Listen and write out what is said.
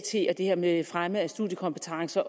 og det her med fremme af studiekompetencer